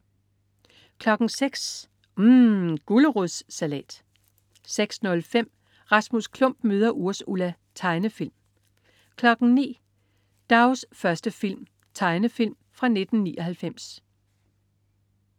06.00 UMM. Gulerodssalat 06.05 Rasmus Klump møder Ursula. Tegnefilm 09.00 Dougs første film. Tegnefilm fra 1999